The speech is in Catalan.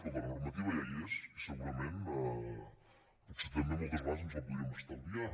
escolta la normativa ja hi és i segurament potser també moltes vegades ens la podríem estalviar